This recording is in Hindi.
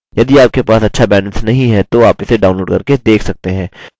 यदि आपके पास अच्छा bandwidth नहीं है तो आप इसे download करके देख सकते हैं